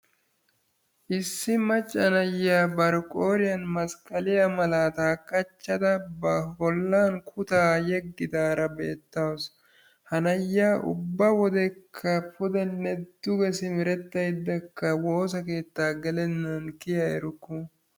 Issi macca na'iyaa bari qooriyaan masiqqaliya malaataa qachchada ba bollaan kutaa yeegidaara beetawus. ha na'iyaa ubba wodekka pudenne duge simeretaydda woosa keettaa geelenan pe'a eruku.